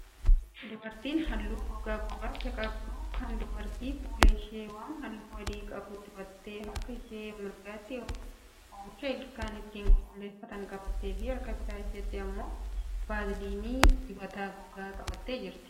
Dubartiin haalluu gogaa gurraacha qabdu kun, dubartii fuula ishee waan haalluu adii qabu dibattee, harka ishee mirgaatti oomisha ilkaan ittiin qulqulleeffatan qabattee fi harka bitaa isheetti immoo vaalsinii dibata gogaa qabattee jirti.